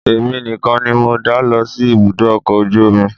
Èmi nìkan ni mo dá lọ sí ibùdó ọkọ̀ ojú omi